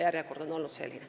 Martin Helme, palun!